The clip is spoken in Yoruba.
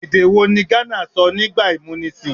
Èdè̀ wo ni ghana sọ nígbà ìmúnisìn?